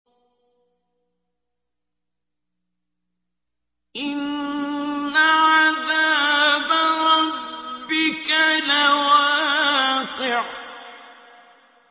إِنَّ عَذَابَ رَبِّكَ لَوَاقِعٌ